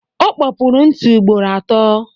O kpopuru ntị ugboro atọ.